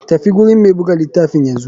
Tafi gurin mai buga litafin yanzu.